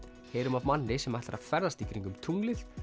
heyrum af manni sem ætlar að ferðast kringum tunglið